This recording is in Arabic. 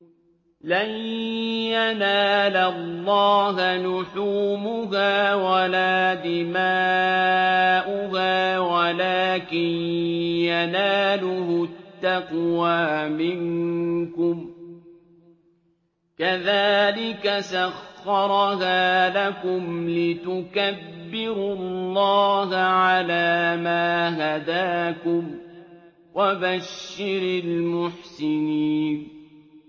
لَن يَنَالَ اللَّهَ لُحُومُهَا وَلَا دِمَاؤُهَا وَلَٰكِن يَنَالُهُ التَّقْوَىٰ مِنكُمْ ۚ كَذَٰلِكَ سَخَّرَهَا لَكُمْ لِتُكَبِّرُوا اللَّهَ عَلَىٰ مَا هَدَاكُمْ ۗ وَبَشِّرِ الْمُحْسِنِينَ